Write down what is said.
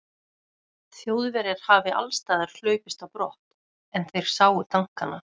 Þjóðverjar hafi allsstaðar hlaupist á brott, er þeir sáu tankana.